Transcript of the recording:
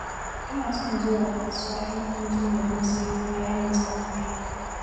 Ina son zuwa kasuwa in an ji ma don sayo kayan masarufi